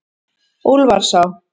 Úlfarsá